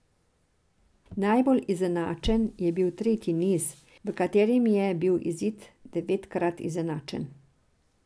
Najbolj izenačen je bil tretji niz, v katerem je bil izid devetkrat izenačen.